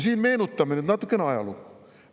Meenutame nüüd natuke ajalugu.